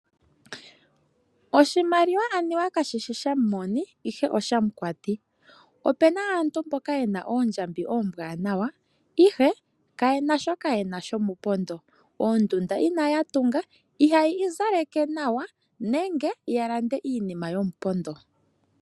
Oshimaliwa anuwa kashishi shamumoni ihe oshamukwati. Opuna aantu mboka yena oondjambi oombwaanawa ihe kayena shoka yena shomupondo. Oondunda inaya tunga, ihaya izaleke nawa nenge yalande iinima yomupondo.